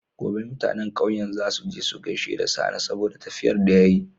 Gobe mutAnan ƙauyen zasu je su gaishe da sani saboda tafiyar da yayi